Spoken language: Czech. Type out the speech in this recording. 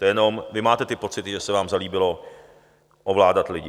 To jenom vy máte ty pocity, že se vám zalíbilo ovládat lidi.